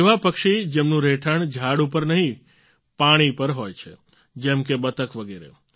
એવા પક્ષી જેમનું રહેઠાણ ઝાડ પર નહીં પાણી પર હોય છે જેમ કે બતક વગેરે